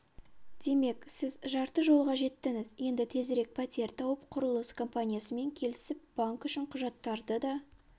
демек сіз жарты жолға жеттіңіз енді тезірек пәтер тауып құрылыс компаниясымен келісіп банк үшін құжаттарды да